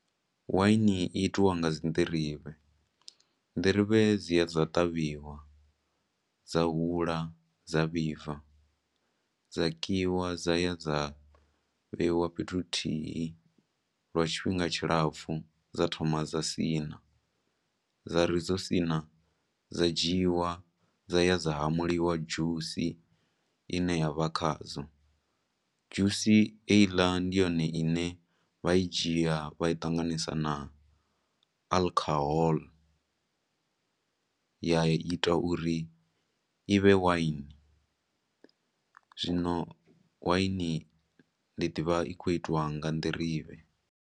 Wine i itiwa nga dzi nḓirivhe. Nḓirivhe dzi ya dza ṱavhiwa, dza hula, dza vhibva, dza kiwa, dzaya dza vheiwa fhethu huthihi lwa tshifhinga tshi lapfu dza thoma dza siṋa, dza ri dzo siṋa, dza dzhiwa, dza ya dza hamuliwa dzhusi ine yavha khadzo. Dzhusi heiḽa ndi yone ine vha i dzhia vha i ṱanganisa na alcohol, ya ita uri i vhe wine. Zwino wine ndi ḓivha i khou itiwa nga nḓirivhe.